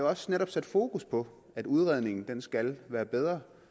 også sat fokus på at udredningen skal være bedre